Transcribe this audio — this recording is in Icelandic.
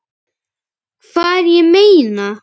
Hvar, ég meina.